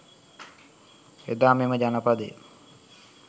එදා මෙම ජනපදය